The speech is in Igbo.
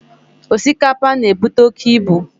Osikapa, ọ na-ebute oke ibu?